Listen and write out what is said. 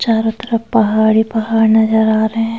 चारों तरफ पहाड़ी पहाड़ नजर आ रहे हैं।